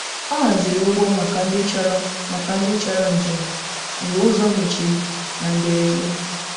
Ọ hazìrì̀ ụgbọ̀ maka ndị chọrọ̀ maka ndị chọrọ̀ njem mgbe ụzọ mechirì na mberede.